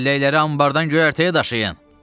Çəlləkləri anbardan göyərtəyə daşıyın.